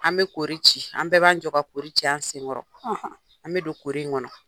An be kori ci, an bɛɛ b'an jɔ ka kori ci an sen kɔrɔ . An be don kori in kɔnɔ.